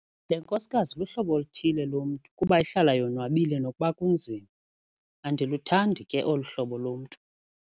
Le nkosikazi luhlobo oluthile lomntu kuba ihlala yonwabile nokuba kunzima. Andiluthandi ke olu hlobo lomntu.